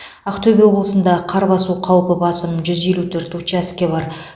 ақтөбе облысында қар басу қаупі басым жүз елу төрт учаске бар